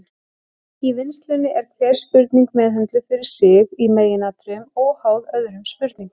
Í vinnslunni er hver spurning meðhöndluð fyrir sig, í meginatriðum óháð öðrum spurningum.